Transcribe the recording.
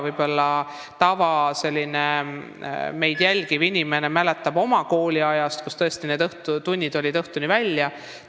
Võib-olla mõni meid jälgiv inimene mäletab oma kooliajast, et tunnid kestsid õhtuni välja.